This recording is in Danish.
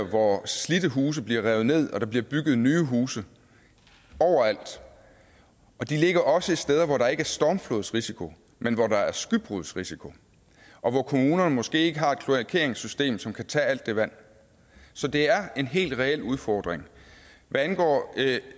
hvor slidte huse bliver revet ned og der bliver bygget nye huse overalt og de ligger også steder hvor der ikke er stormflodsrisiko men hvor der er skybrudsrisiko og hvor kommunerne måske ikke har et kloakeringssystem som kan tage alt det vand så det er en helt reel udfordring hvad angår